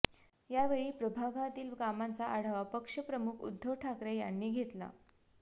यावेळी प्रभागातील कामांचा आढावा पक्षप्रमुख उध्दव ठाकरे यांनी घेतला